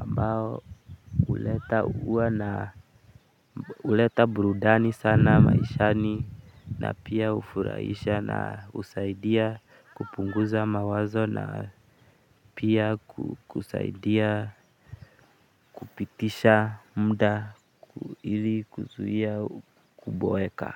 ambao huleta kuwa na huleta burudani sana maishani na pia hufurahisha na husaidia kupunguza mawazo na pia kukusaidia kupitisha muda ili kuzuia kuboeka.